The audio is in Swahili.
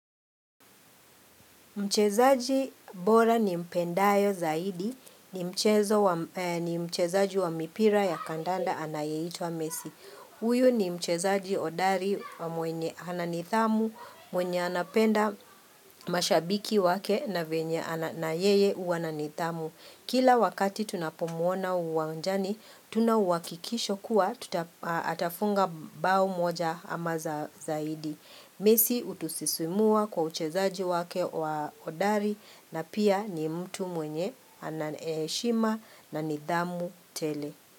Mchezaji bora ni mpendayo zaidi ni mchezaji wa mipira ya kandanda anayeitwa messi. Huyu ni mchezaji hodari na mwenye ananithamu mwenye anapenda mashabiki wake na venye na yeye huwa na nithamu. Kila wakati tunapomuona uwanjani, tuna uwakikisho kuwa atafunga bao moja ama zaidi. Messi hutusisimua kwa uchezaji wake wa hodari na pia ni mtu mwenye ana heshima na nidhamu tele.